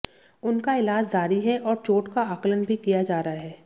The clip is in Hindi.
उनका इलाज जारी है और चोट का आकलन भी किया जा रहा है